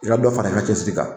I ka dɔ fara i ka cɛsiri kan